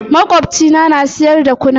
Makocina na siyar da kunun aya.